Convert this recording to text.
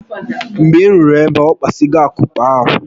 Mgbe m ruru ebe ahu, okpasigo akupe ahụ